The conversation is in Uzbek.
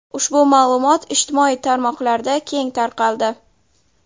Ushbu ma’lumot ijtimoiy tarmoqlarda keng tarqaldi.